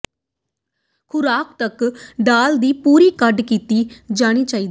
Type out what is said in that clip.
ਖੁਰਾਕ ਤੱਕ ਦਾਲ ਦੀ ਪੂਰੀ ਕੱਢ ਦਿੱਤਾ ਜਾਣਾ ਚਾਹੀਦਾ